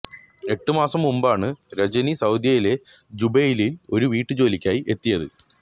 എട്ടു മാസം മുൻപാണ് രജനി സൌദിയിലെ ജുബൈലിൽ ഒരു വീട്ടുജോലിക്കായി എത്തിയത്